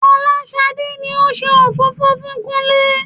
Fọláṣadé ni ó ṣe òfófó fún Kúnlé